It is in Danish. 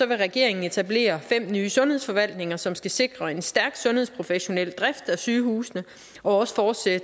vil regeringen etablere fem nye sundhedsforvaltninger som skal sikre en stærk sundhedsprofessionel drift af sygehusene og også fortsætte